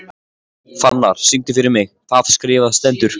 Fannar, syngdu fyrir mig „Það skrifað stendur“.